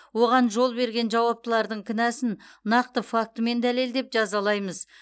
оған жол берген жауаптылардың кінәсін нақты фактімен дәлелдеп жазалаймыз